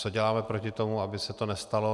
Co děláme proti tomu, aby se to nestalo.